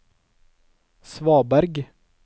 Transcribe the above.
svaberg